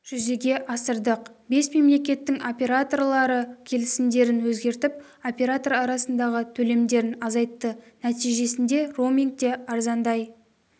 жүзеге асырдық бес мемлекеттің операторлары келісімдерін өзгертіп оператор арасындағы төлемдерін азайтты нәтижесінде роуминг те арзандай